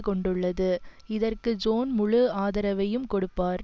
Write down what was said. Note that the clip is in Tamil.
கொண்டுள்ளது இதற்கு ஜோன் முழு ஆதரவையும் கொடுப்பார்